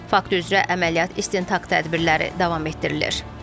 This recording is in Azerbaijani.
Fakt üzrə əməliyyat istintaq tədbirləri davam etdirilir.